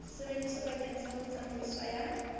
sebediswa bakeng sa tsamaiso ya